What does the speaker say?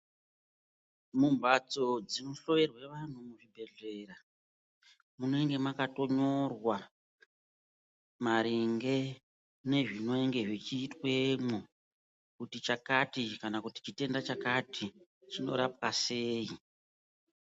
Mumphatso dzinohloyerwa vantu muzvibhedhlera. Munenge makatonyorwa maringe nezvinenge zvichiitwemwo kuti chakati kana kuti chitenda chakati chinorapwa sei.